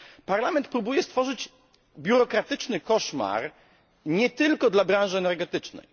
Parlament próbuje stworzyć biurokratyczny koszmar nie tylko dla branży energetycznej.